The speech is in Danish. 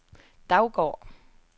Daugård